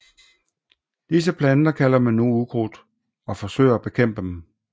Disse planter kalder man nu ukrudt og forsøger at bekæmpe dem